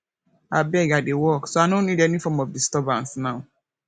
abeg i dey work so i no need any form of disturbance now